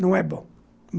Não é bom.